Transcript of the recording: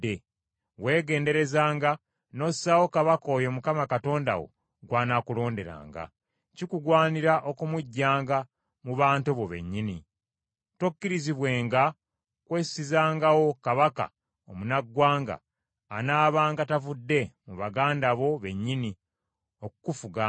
Weegenderezanga n’ossaawo kabaka oyo Mukama Katonda wo gw’anaakulonderanga. Kikugwanira okumuggyanga mu bantu bo bennyini. Tokkirizibwenga kwessizangawo kabaka omunnaggwanga anaabanga tavudde mu baganda bo bennyini, okukufuganga.